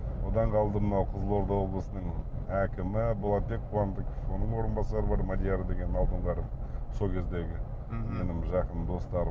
одан қалды мынау қызылорда облысының әкімі болатбек қуандықов оның орынбасары бар мадияр деген алдоңғаров сол кездегі менің жақын достарым